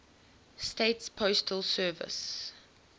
states postal service